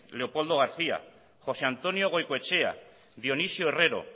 leopoldo garcía josé antonio goicoechea dionisio herrero